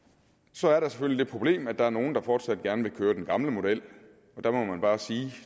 så er der selvfølgelig det problem at der er nogle der fortsat gerne vil køre den gamle model der må man bare sige at